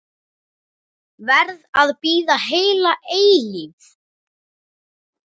Verð að bíða heila eilífð.